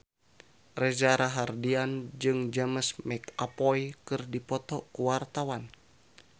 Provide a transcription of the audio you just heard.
Reza Rahardian jeung James McAvoy keur dipoto ku wartawan